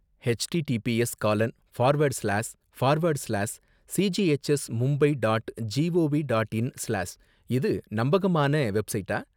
HTTPS gallon forward slash forward slash சிஜிஹெச்எஸ்மும்பை dot gov dot in சிலாஸ் இது நம்பகமான வெப்சைட்டா